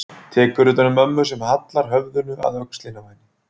Tekur utan um mömmu sem hallar höfðinu að öxlinni á henni.